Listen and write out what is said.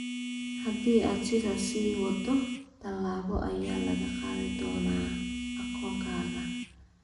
Haddii aad sidaas sii waddo, tallaabo ayaa laga qaadi doonaa akoonkaaga.